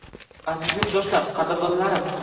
Aziz yurtdoshlar, qadrdonlarim!